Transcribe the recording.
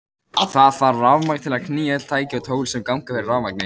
Það þarf rafmagn til að knýja öll tæki og tól sem ganga fyrir rafmagni.